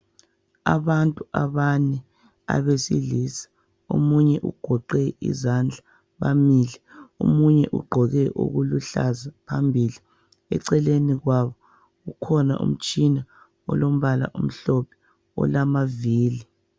Abantu abane abesilisa, omunye ugoqe izandla, bamile. Omunye ugqoke okuluhlaza phambili. Eceleni kwabo kukhona umtshina olombala omhlophe olamavili.